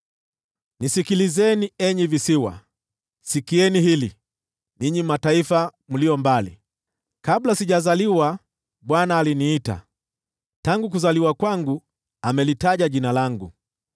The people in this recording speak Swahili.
Nisikilizeni, enyi visiwa, sikieni hili, ninyi mataifa mlio mbali: Kabla sijazaliwa, Bwana aliniita, tangu kuzaliwa kwangu, amelitaja jina langu.